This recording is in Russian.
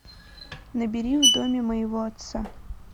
набери в доме моего отца